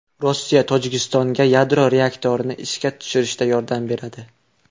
Rossiya Tojikistonga yadro reaktorini ishga tushirishda yordam beradi.